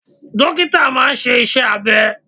Dókítà máa ń ṣe iṣẹ́ abẹ.